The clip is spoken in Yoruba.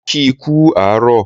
Mo kii kú àárọ̀